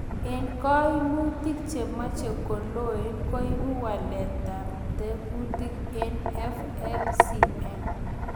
En koimutik chemoche koloen, koibu waletab tekutik en FLCN .